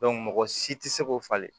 mɔgɔ si tɛ se k'o falen